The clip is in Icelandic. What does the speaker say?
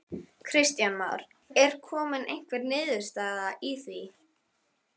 Kristján Már: Er komin einhver niðurstaða í því?